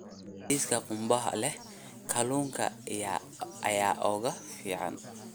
Bariiska qumbaha leh kalluunka ayaa ugu fiican.